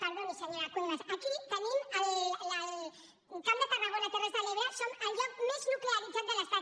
perdoni senyora cuevas aquí camp de tarragona terres de l’ebre som el lloc més nuclearitzat de l’estat